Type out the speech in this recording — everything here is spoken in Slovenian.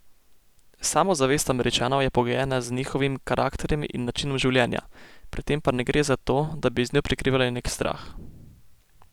Samozavest Američanov je pogojena z njihovim karakterjem in načinom življenja, pri tem pa ne gre za to, da bi z njo prikrivali nek strah.